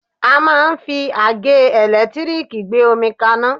A máà ń fi àgẹ́ ẹ̀lẹ́tírìkì gbé omi kaná.